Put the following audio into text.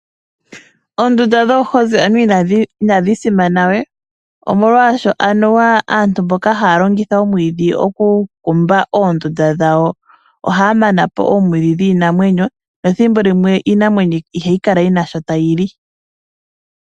Oondunda dhoohozi anuwa inadhi simana we nomolwaashoka anuwa aantu mboka haya longitha omwiidhi oku kumba oondunda dhawo ohaya manapo oomwiidhi dhiinamwenyo nethimbo limwe iinamwenyo ihayi Kala yina shoka tayili